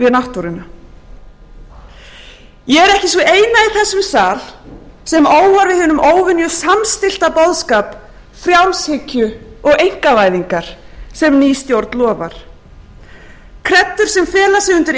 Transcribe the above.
náttúruna ég er ekki sú eina í þessum sal sem óar við hinum óvenju samstillta boðskap frjálshyggju og einkavæðingar sem ný stjórn lofar kreddur sem fela sig undir